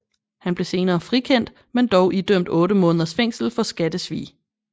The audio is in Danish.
Han blev senere frikendt men dog idømt 8 måneders fængsel for skattesvig